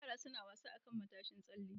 Yara suna wasa akan matashin tsalle.